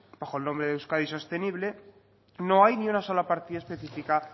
bajo el nombre de euskadi sostenible no hay ninguna sola partida específica